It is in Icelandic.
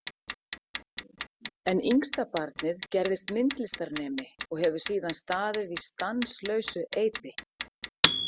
En yngstabarnið gerðist myndlistarnemi og hefur síðan staðið í stanslausu eipi.